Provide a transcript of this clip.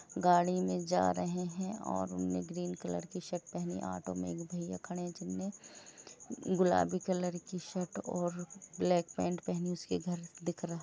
गाड़ी मे जा रहे हैँ और उन्हेने ग्रीन कलर की शर्ट पहनी हैँ ऑटो मे एक भैया खड़े है जिन्होंने गुलाबी कलर की शर्ट और ब्लैक पेंट पहनी हैँ उसके घर दिख रहा।